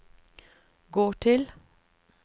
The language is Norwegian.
gå til